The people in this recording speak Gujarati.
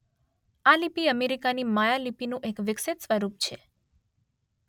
આ લિપિ અમેરીકાની માયાલિપિનું એક વિકસિત સ્વરૂપ છે